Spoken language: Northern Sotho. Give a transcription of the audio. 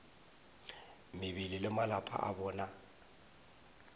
mebele le malapa a bona